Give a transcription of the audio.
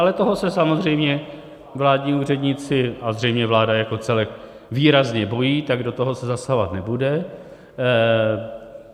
Ale toho se samozřejmě vládní úředníci a zřejmě vláda jako celek výrazně bojí, tak do toho se zasahovat nebude.